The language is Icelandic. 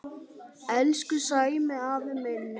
Elsku Sæmi afi minn.